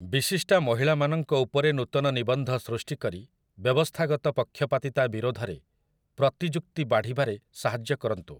ବିଶିଷ୍ଟା ମହିଳାମାନଙ୍କ ଉପରେ ନୂତନ ନିବନ୍ଧ ସୃଷ୍ଟି କରି ବ୍ୟବସ୍ଥାଗତ ପକ୍ଷପାତିତା ବିରୋଧରେ ପ୍ରତିଯୁକ୍ତି ବାଢ଼ିବାରେ ସାହାଯ୍ୟ କରନ୍ତୁ ।